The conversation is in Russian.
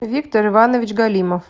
виктор иванович галимов